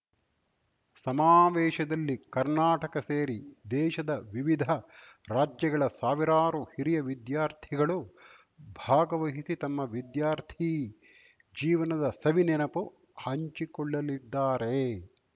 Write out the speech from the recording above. ಸಮಾವೇಶದಲ್ಲಿ ಕರ್ನಾಟಕ ಸೇರಿ ದೇಶದ ವಿವಿಧ ರಾಜ್ಯಗಳ ಸಾವಿರಾರು ಹಿರಿಯ ವಿದ್ಯಾರ್ಥಿಗಳು ಭಾಗವಹಿಸಿ ತಮ್ಮ ವಿದ್ಯಾರ್ಥಿ ಜೀವನದ ಸವಿ ನೆನಪು ಹಂಚಿಕೊಳ್ಳಲಿದ್ದಾರೆ